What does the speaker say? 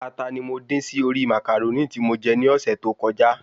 Ata ni mo dín sí orí Màcàrónì tí mo je ní ọ̀sẹ̀ tó kọjá